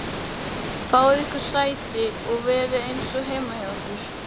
Fáið ykkur sæti og verið eins og heima hjá ykkur!